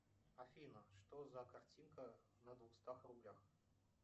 афина что за картинка на двухстах рублях